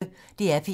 DR P1